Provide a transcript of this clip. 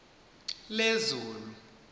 lezulu